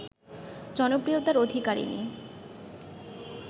জনপ্রিয়তার অধিকরিণী